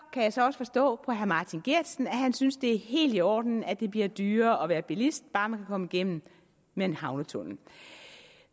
kan jeg så forstå på herre martin geertsen at han synes det er helt i orden at det bliver dyrere at være bilist bare man kan komme igennem med en havnetunnel